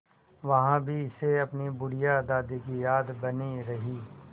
वहाँ भी इसे अपनी बुढ़िया दादी की याद बनी रही